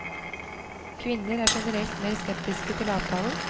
Kvinner er generelt mer skeptiske til avtalen.